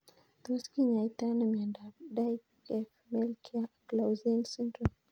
tos kinyaitoi ano miondop Dyggve Melchior Clausen syndrome.